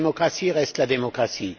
La démocratie reste la démocratie.